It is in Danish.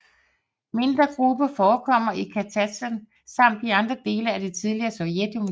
Mindre grupper forekommer i Kazakstan samt i andre dele af det tidligere Sovjetunionen